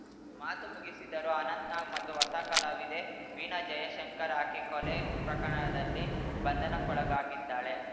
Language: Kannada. ಮಾತು ಮುಗಿಸಿದರು ಅನಂತ್‌ನಾಗ್‌ ಮತ್ತು ಹೊಸ ಕಲಾವಿದೆ ವೀಣಾ ಜಯಶಂಕರ್‌ ಆಕೆ ಕೊಲೆ ಪ್ರಕರಣದಲ್ಲಿ ಬಂಧನಕ್ಕೊಳಗಾಗಿದ್ದಾಳೆ